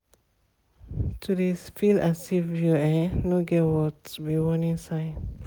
to de sfeel as if um u no get worth be warnig sign.